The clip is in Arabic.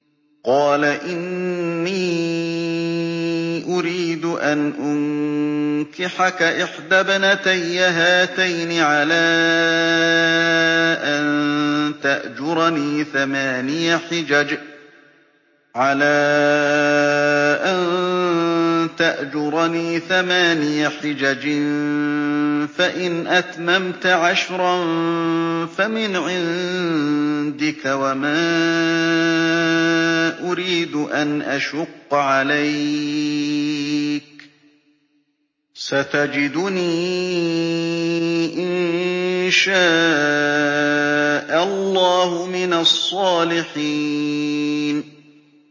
قَالَ إِنِّي أُرِيدُ أَنْ أُنكِحَكَ إِحْدَى ابْنَتَيَّ هَاتَيْنِ عَلَىٰ أَن تَأْجُرَنِي ثَمَانِيَ حِجَجٍ ۖ فَإِنْ أَتْمَمْتَ عَشْرًا فَمِنْ عِندِكَ ۖ وَمَا أُرِيدُ أَنْ أَشُقَّ عَلَيْكَ ۚ سَتَجِدُنِي إِن شَاءَ اللَّهُ مِنَ الصَّالِحِينَ